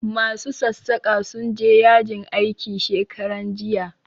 Ma su sassaƙa sun je yajin aiki shekaran jiya